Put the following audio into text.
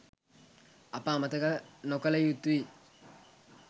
අප අමතක නොකළ යුතුයි